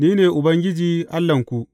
Ni ne Ubangiji Allahnku.